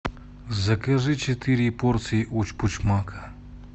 закажи четыре порции учпучмака